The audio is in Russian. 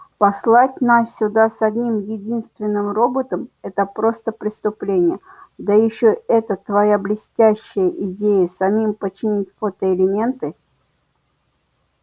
послать нас сюда с одним единственным роботом это просто преступление да ещё эта твоя блестящая идея самим починить фотоэлементы